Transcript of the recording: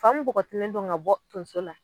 Fan mun bɔgɔtilen don ka bɔ tonso la.